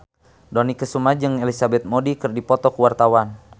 Dony Kesuma jeung Elizabeth Moody keur dipoto ku wartawan